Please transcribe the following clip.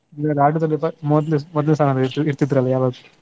ಅಂದ್ರೆ ಆಟದಲ್ಲಿ ಸ ಮೊದ್ಲ್ ಮೊದ್ಲ್ ಸಾಲಲ್ ಇರ್ತಿದ್ರಲ್ಲ ಯಾವಾಗ್ಲು.